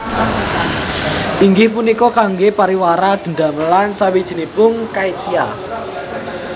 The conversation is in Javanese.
Inggih punika kangge pariwara dedamelan sawijinipun caitya